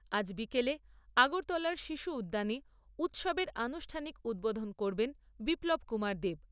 আজ বিকেলে আগরতলার শিশু উদ্যানে উৎসবের আনুষ্ঠানিক উদ্বোধন করবেন বিপ্লব কুমার দেব।